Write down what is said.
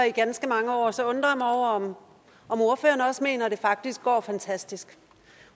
i ganske mange år så undrer jeg mig over om ordføreren også mener at det faktisk går fantastisk